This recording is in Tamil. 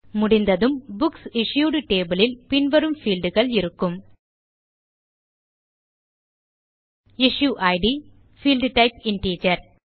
முடிந்ததும் புக்ஸ் இஷ்யூட் டேபிள் இல் பின் வரும் பீல்ட்ஸ் இருக்கும் issue id field type integer